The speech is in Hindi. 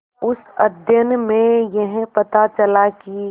उस अध्ययन में यह पता चला कि